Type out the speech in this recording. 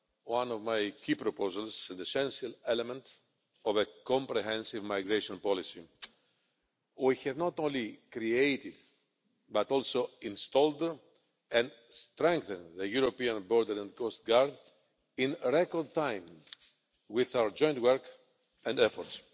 one of my key proposals, an essential element of a comprehensive migration policy. We have not only created but also installed and strengthened the European Border and Coast Guard in record time with our joint work and efforts.